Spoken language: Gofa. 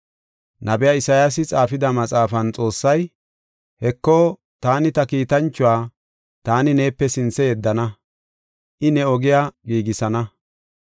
Nabiya Isayaasi xaafida maxaafan Xoossay, “Heko, taani ta kiitanchuwa taani neepe sinthe yeddana. I ne ogiya giigisana.